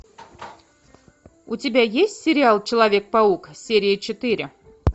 у тебя есть сериал человек паук серия четыре